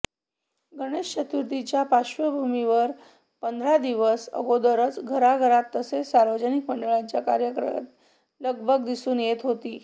गणेश चतुर्थीच्या पार्श्वभूमीवर पंधरा दिवस अगोदरच घराघरात तसेच सार्वजनिक मंडळांच्या कार्यकर्त्यांची लगबग दिसून येत होती